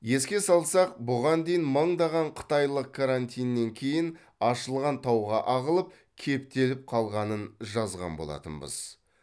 еске салсақ бұған дейін мыңдаған қытайлық карантиннен кейін ашылған тауға ағылып кептеліп қалғанын жазған болатынбыз